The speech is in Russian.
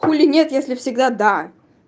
хули нет если всегда да